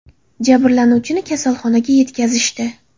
Jabrlanuvchini kasalxonaga yetkazishdi.